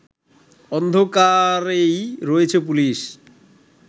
অন্ধকারেই রয়েছে পুলিশ